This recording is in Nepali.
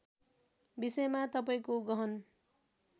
विषयमा तपाईँको गहन